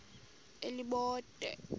elibode